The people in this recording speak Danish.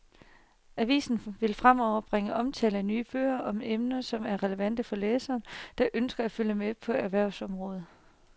Avisen vil fremover bringe omtale af nye bøger om emner, som er relevante for læsere, der ønsker at følge med på erhvervsområdet.